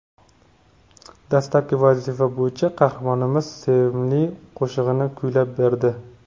Dastlabki vazifa bo‘yicha qahramonimiz sevimli qo‘shig‘ini kuylab berdi.